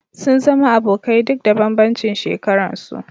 Sun zama abokai duk da bambancin shekaran su